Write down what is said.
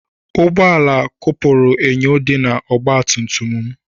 Ụgbọ ala kụpuru enyo dị na ọgba tum tum m.